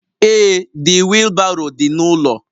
Ee The wheelbarrow dị n'ụlọ